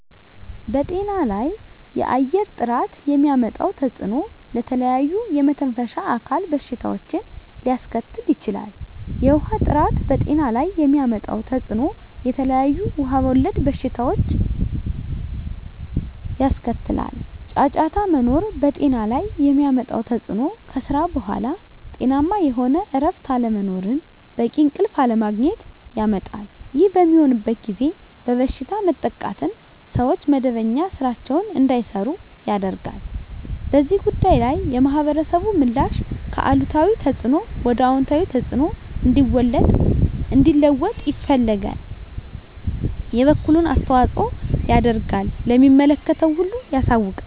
በጤና ላይ የአየር ጥራት የሚያመጣው ተፅዕኖ ለተለያዩ የመተንፈሻ አካል በሽታዎችን ሊያስከትል ይችላል። የውሀ ጥራት በጤና ላይ የሚያመጣው ተፅዕኖ የተለያዩ ውሀ ወለድ በሽታዎችን ያስከትላል። ጫጫታ መኖር በጤና ላይ የሚያመጣው ተፅዕኖ ከስራ በኃላ ጤናማ የሆነ እረፍት አለመኖርን በቂ እንቅልፍ አለማግኘት ያመጣል። ይህ በሚሆንበት ጊዜ በበሽታ መጠቃትን ሰዎች መደበኛ ስራቸዉን እንዳይሰሩ ያደርጋል። በዚህ ጉዳይ ላይ የማህበረሰቡ ምላሽ ከአሉታዊ ተፅዕኖ ወደ አወንታዊ ተፅዕኖ እንዲለወጥ ይፈልጋል የበኩሉን አስተዋፅኦ ያደርጋል ለሚመለከተው ሁሉ ያሳውቃል።